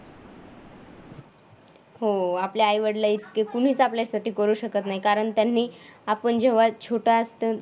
हो आपल्या आई-वडलाइतके कुणीच आपल्यासाठी करू शकत नाही कारण त्यांनी आपण जेव्हा छोटं